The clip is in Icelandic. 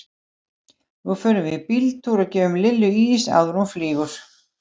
Nú förum við í bíltúr og gefum Lillu ís áður en hún flýgur.